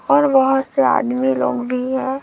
और बाहर से आदमी लोग भी है।